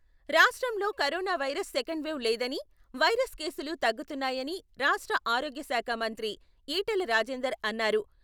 రాష్ట్రంలో corona virus second wave లేదని, virus కేసులు తగ్గుతున్నాయని రాష్ట్ర ఆరోగ్యశాఖ మంత్రి ఈటెల రాజేందర్ అన్నారు.